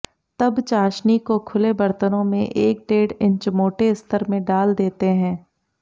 तब चाशनी को खुले बर्तनों में एक डेढ़ इंच मोटे स्तर में डाल देते हैं